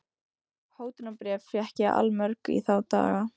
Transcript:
Hótunarbréf fékk ég allmörg í þá daga.